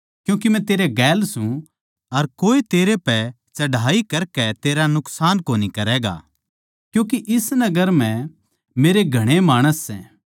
क्यूँके मै तेरै गेल सूं अर कोए तेरै पै चढ़ाई करकै तेरा नुकसान कोनी करैगा क्यूँके इस नगर म्ह मेरे घणे माणस सै